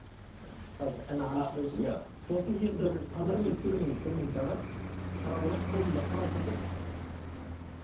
қазір иә сосын енді бір минут бір минут бір минут аға қарап алайық қолымда құран тұр да